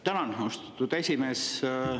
Tänan, austatud esimees!